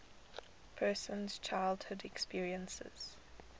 person's childhood experiences